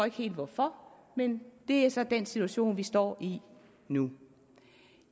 ikke helt hvorfor men det er så den situation vi står i nu